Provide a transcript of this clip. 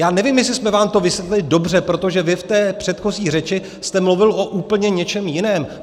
Já nevím, jestli jsem vám to vysvětlil dobře, protože vy v té předchozí řeči jste mluvil o úplně něčem jiném.